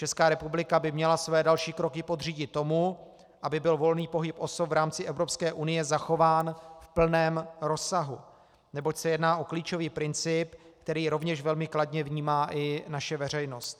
Česká republika by měla své další kroky podřídit tomu, aby byl volný pohyb osob v rámci Evropské unie zachován v plném rozsahu, neboť se jedná o klíčový princip, který rovněž velmi kladně vnímá i naše veřejnost.